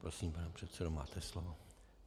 Prosím, pane předsedo, máte slovo.